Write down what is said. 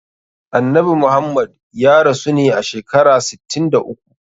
Annabi Muhammad ya rasu ne a shekara sittin da uku.